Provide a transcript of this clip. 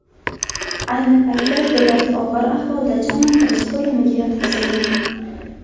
Ayni paytda go‘dak og‘ir ahvolda jonlantirish bo‘limiga yotqizilgan.